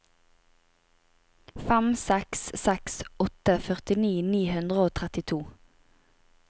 fem seks seks åtte førtini ni hundre og trettito